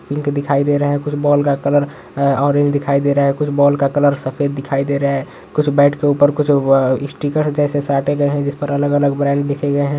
Pink दिखाई दे रहा हैं कुछ बॉल का कलर अ ओरेंज दिखाई दे रहा है कुछ बॉल का कलर सफ़ेद दिखाई दे रहा है कुछ बेट के ऊपर कुछ अ-अ स्टीकर जैसे साटे गए है जिसपर अलग अलग ब्रेंड लिखे गए हैं।